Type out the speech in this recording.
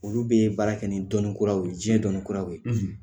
Olu bɛ baara kɛ ni dɔnni kuraw ye diɲɛ dɔnniikuraw ye